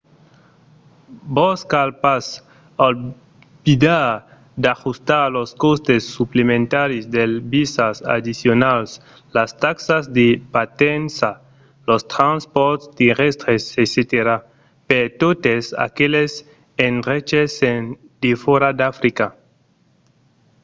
vos cal pas oblidar d'ajustar los còstes suplementaris dels visas addicionals las taxas de partença los transpòrts terrèstres etc. per totes aqueles endreches en defòra d'africa